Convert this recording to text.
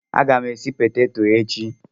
A ga m esi peteto echi.